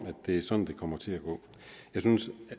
at det er sådan det kommer til gå jeg synes